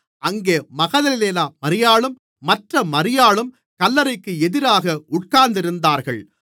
அங்கே மகதலேனா மரியாளும் மற்ற மரியாளும் கல்லறைக்கு எதிராக உட்கார்ந்திருந்தார்கள்